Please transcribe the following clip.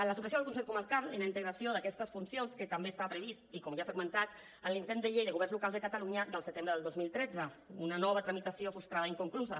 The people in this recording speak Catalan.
la supressió del consell comarcal i la integració d’aquestes funcions que també estava prevista i com ja s’ha comentat en l’intent de llei de governs locals de catalunya del setembre del dos mil tretze una nova tramitació frustrada i inconclusa